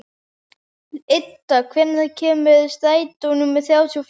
Idda, hvenær kemur strætó númer þrjátíu og fjögur?